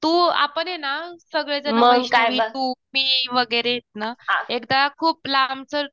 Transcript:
तू आपण ये ना सगळेजण वैष्णवी वगैरे तू, मी वगैरे येत ना एकदा खूप लांबच